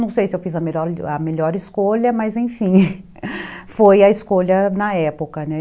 Não sei se eu fiz a melhor a melhor escolha, mas enfim, foi a escolha na época, né?